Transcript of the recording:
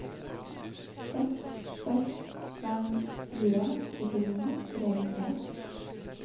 seks seks fem fire syttini tre hundre